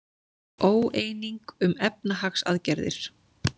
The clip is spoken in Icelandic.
Óeining um efnahagsaðgerðir